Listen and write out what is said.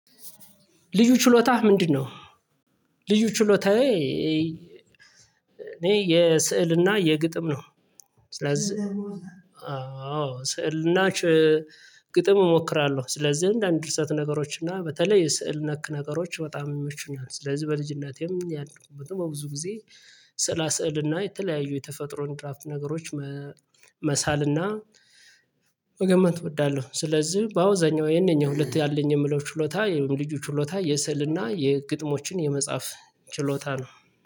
ልዩ ችሎታህ ምንድነው? ልዩ ችሎታዬ እኔ የስዕልና የግጥም ነው። ስለዚህ አዎ ስዕልና ች ግጥም እሞክራለሁ። ስለዚህ አንድ አንድ ድርሰት ነገሮች እና በተለይ የስዕል ነክ ነገሮች በጣም ይመቹኛል። ስለዚህ በልጅነቴም ያደኩበትም በብዙ ጊዜ ስዕላ ስዕልና የተለያዩ የተፈጥሮን ድራፍት ነገሮች መሳልና መገመት እወዳለሁ። ስለዚህ በአብዛኛው የነኚህ ሁለት ያለኝ የምለው ችሎታ የልጁ ችሎታ የስልና የግጥሞችን የመጻፍ ችሎታ ነው